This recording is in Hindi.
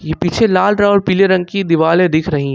ये पीछे लाल और पीले रंग की दीवाले दिख रही--